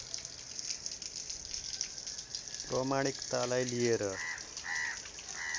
प्रमाणिकतालाई लिएर